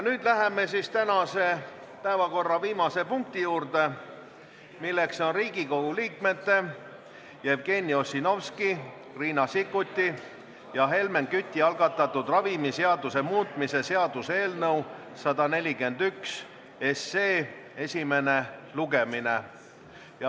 Nüüd läheme tänase päevakorra viimase punkti juurde, milleks on Riigikogu liikmete Jevgeni Ossinovski, Riina Sikkuti ja Helmen Küti algatatud ravimiseaduse muutmise seaduse eelnõu 141 esimene lugemine.